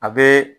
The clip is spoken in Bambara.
A bɛ